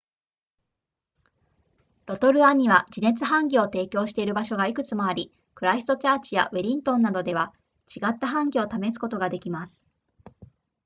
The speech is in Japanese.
ロトルアには地熱ハンギを提供している場所がいくつもありクライストチャーチやウェリントンなどでは違ったハンギを試すことができます